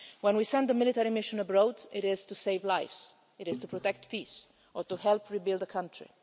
When we send a military mission abroad, it is to save lives, to protect peace or to help rebuild a country.